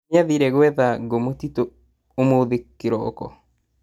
Mami nĩathire gwetha ngũ mũtitũ ũmũthĩ kĩroko